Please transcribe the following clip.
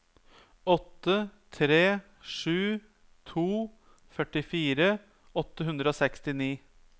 åtte tre sju to førtifire åtte hundre og sekstini